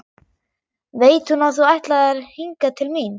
Veit hún að þú ætlaðir hingað til mín?